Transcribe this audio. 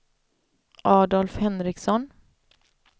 Adolf Henriksson